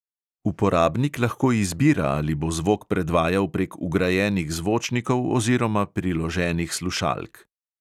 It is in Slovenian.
Uporabnik lahko izbira, ali bo zvok predvajal prek vgrajenih zvočnikov oziroma priloženih slušalk.